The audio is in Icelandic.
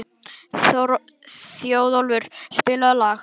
Þjóðólfur, spilaðu lag.